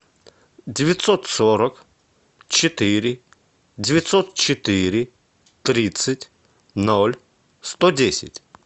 девятьсот сорок четыре девятьсот четыре тридцать ноль сто десять